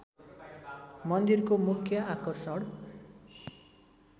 मन्दिरको मुख्य आकर्षण